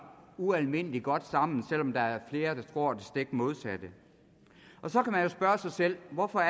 ualmindelig godt sammen selv om der er flere der tror det stik modsatte så kan man jo spørge sig selv hvorfor